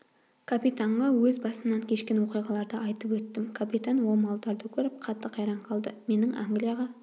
капитанға өз басымнан кешкен оқиғаларды айтып өттім капитан ол малдарды көріп қатты қайран қалды менің англияға